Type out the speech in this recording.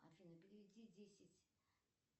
афина переведи десять